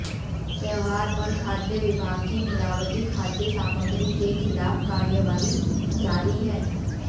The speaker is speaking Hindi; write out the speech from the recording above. त्यौहार पर खाद्य विभाग की मिलावटी खाद्य सामग्री के खिलाफ कार्रवाई जारी है